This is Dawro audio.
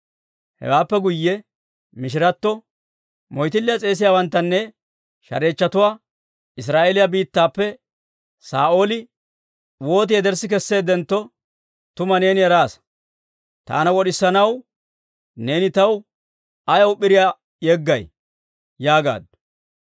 Hewaappe guyye mishiratta, «Moytilliyaa s'eesiyaawanttanne shareechchatuwaa Israa'eeliyaa biittappe Saa'ooli wooti yederssi kesseeddentto, tuma neeni eraasa. Taana wod'isanaw neeni taw ayaw p'iriyaa yeggay?» yaagaaddu.